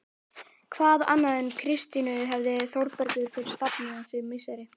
Hvað annað en Kristínu hefur Þórbergur fyrir stafni þessi misseri?